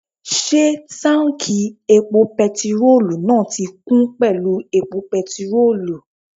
Ṣé táùnkì epo pẹtirólù náà ti kún pẹ̀lú epo pẹtirólù?